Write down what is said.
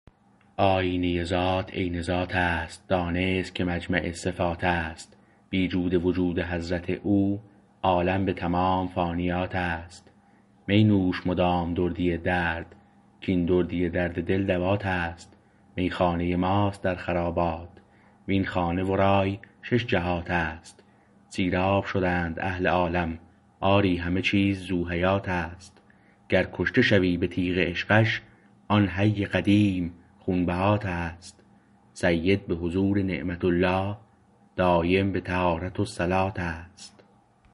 آیینه ذات عین ذاتست دانست که مجمع صفاتست بی جود وجود حضرت او عالم به تمام فانیاتست می نوش مدام دردی درد کین دردی درد دل دواتست میخانه ماست در خرابات وین خانه ورای شش جهاتست سیراب شدند اهل عالم آری همه چیز ذوحیاتست گر کشته شوی به تیغ عشقش آن حی قدیم خونبهاتست سید به حضور نعمة الله دایم به طهارت و صلاتست